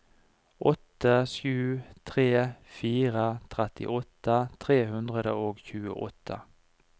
åtte sju tre fire trettiåtte tre hundre og tjueåtte